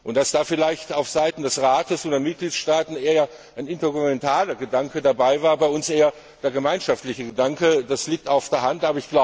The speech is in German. Dass da vielleicht auf Seiten des Rates und der Mitgliedstaaten eher ein intergouvernementaler Gedanke dabei war, bei uns eher der gemeinschaftliche Gedanke, das liegt auf der Hand.